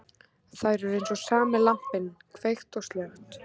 Þær eru eins og sami lampinn, kveikt og slökkt.